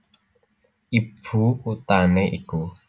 Ibu kuthané iku